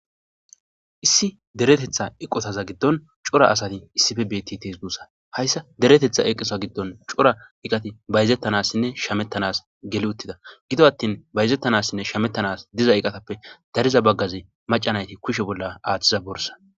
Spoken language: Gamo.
Issi deretetha aqota gidon deretetha aqoti betidesi hayis deretetha eqeta gidon coora eqati bayizetnasinne shametanasi giggi utida giddo atoshin bayizetanasinne shametanasi gigiza eqati dariza bagati macca nayit kushe bolla athiza borissa